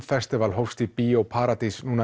festival hófst í Bíó paradís